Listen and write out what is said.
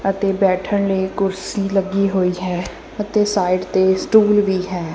ਅਤੇ ਬੈਠਣ ਲਈ ਕੁਰਸੀ ਲੱਗੀ ਹੋਈ ਹੈ ਅਤੇ ਸਾਈਡ ਤੇ ਸਟੂਲ ਵੀ ਹੈ।